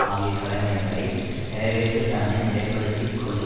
ஆகிய கடமைகளை நிறைவேற்ற தன்னை நிலைப்படுத்திக் கொள்ளல்